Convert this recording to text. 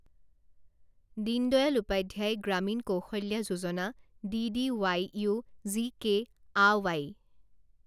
Deen Dayal Upadhyaya Grameen Kaushalya Yojana D D U GKY